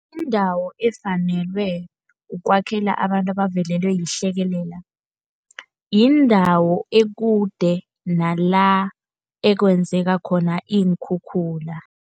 Indawo efanelwe ukwakhela abantu ebavelelwe yihlekelele, yindawo ekude nala, ekwenzeka khona iinkhukhula.